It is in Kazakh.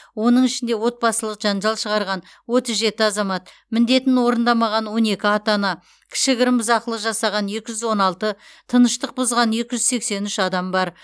оның ішінде отбасылық жанжал шығарған отыз жеті азамат міндетін орындамаған он екі ата ана кішігірім бұзақылық жасаған екі жүз он алты тыныштық бұзған екі жүз сексен үш адам бар